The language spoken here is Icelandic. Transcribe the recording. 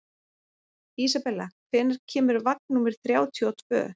Isabella, hvenær kemur vagn númer þrjátíu og tvö?